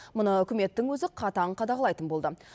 мұны үкіметтің өзі қатаң қадағалайтын болды